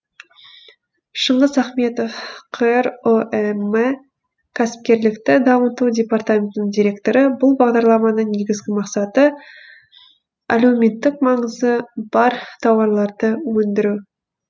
шыңғыс ахметов қр ұэм кәсіпкерлікті дамыту департаментінің директоры бұл бағдарламаны негізгі мақсаты әлеуметтік маңызы бар тауарларды өндіру